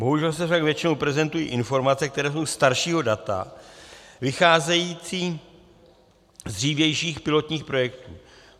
Bohužel se však většinou prezentují informace, které jsou staršího data, vycházející z dřívějších pilotních projektů.